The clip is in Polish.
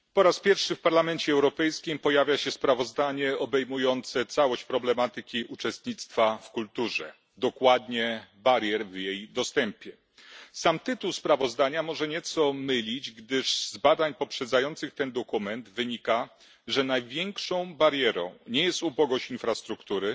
Panie Przewodniczący! Po raz pierwszy w Parlamencie Europejskim pojawia się sprawozdanie obejmujące całość problematyki uczestnictwa w kulturze, dokładnie barier w dostępie do niej. Sam tytuł sprawozdania może nieco mylić, gdyż z badań poprzedzających ten dokument wynika, że największą barierą nie jest ubogość infrastruktury